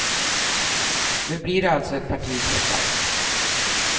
Nu blir det alltså ett parti trots allt.